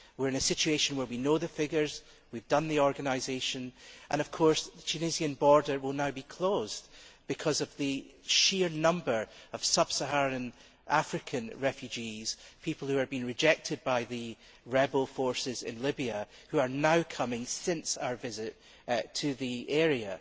We are in a situation where we know the figures, we have done the organisation and of course the Tunisian border will now be closed because of the sheer number of sub Saharan African refugees, people who have been rejected by the rebel forces in Libya, who are now coming since our visit to the area.